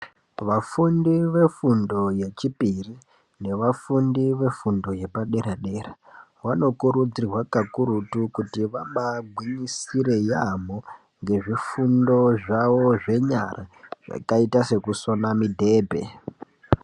Vafundi vefundo yechipiri nevafundi vefundo yepadera dera, vanokurudzirwa kakurutu kuti vambaye gwinyisire yaambo ndezvifundo zvavo zvenyara zvakaita sekusona mibhedhe.